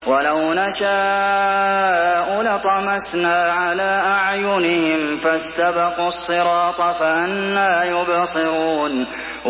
وَلَوْ نَشَاءُ لَطَمَسْنَا عَلَىٰ أَعْيُنِهِمْ فَاسْتَبَقُوا الصِّرَاطَ فَأَنَّىٰ يُبْصِرُونَ